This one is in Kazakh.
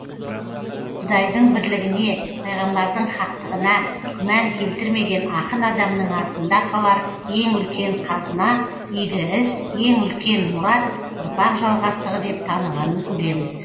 құдайдың бірлігіне пайғамбардың хақтығына күмән келтірмеген ақын адамның артында қалар ең үлкен қазына игі іс ең үлкен мұрат ұрпақ жалғастығы деп танығанын көреміз